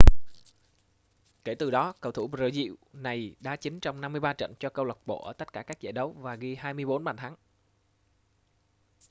kể từ đó cầu thủ brazil này đá chính trong 53 trận cho câu lạc bộ ở tất cả các giải đấu và ghi 24 bàn thắng